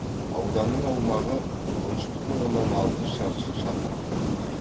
ауданның аумағы он үш бүтін оннан алты шаршы шақырымды құрайды